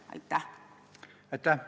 Aitäh!